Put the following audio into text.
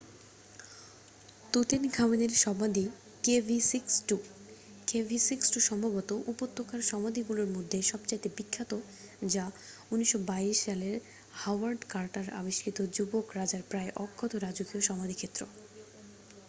তুতেনখামেনের সমাধি kv62। kv62 সম্ভবত উপত্যকার সমাধিগুলির মধ্যে সবচেয়ে বিখ্যাত যা ১৯২২ সালে হাওয়ার্ড কার্টার আবিষ্কৃত যুবক রাজার প্রায় অক্ষত রাজকীয় সমাধিক্ষেত্র।